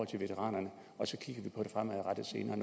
til veteranerne